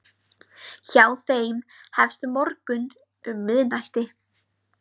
Hjá þeim hefst morgunn um miðnætti.